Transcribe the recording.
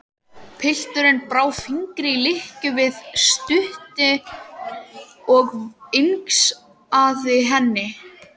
Pilturinn brá fingri í lykkjuna við stútinn og vingsaði henni.